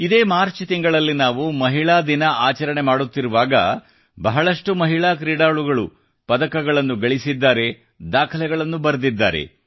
ಇದೇ ಮಾರ್ಚ್ ತಿಂಗಳಲ್ಲಿ ನಾವು ಮಹಿಳಾ ದಿನ ಆಚರಣೆ ಮಾಡುತ್ತಿರುವಾಗ ಬಹಳಷ್ಟು ಮಹಿಳಾ ಕ್ರೀಡಾಳುಗಳು ಪದಕಗಳನ್ನು ಮತ್ತು ದಾಖಲೆಗಳನ್ನು ಸಾಧಿಸಿದ್ದಾರೆ